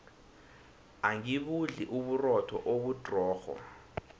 angibudli uburotho obudrorho